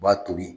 U b'a to yen